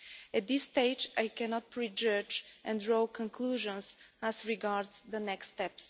At this stage, I cannot prejudge and draw conclusions as regards the next step.